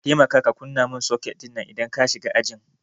ka temaka ka kunna min soket dinnan idan ka shiga ajin